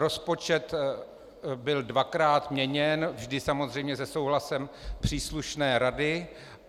Rozpočet byl dvakrát měněn, vždy samozřejmě se souhlasem příslušné rady.